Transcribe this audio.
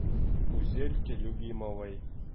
гузельке любимовой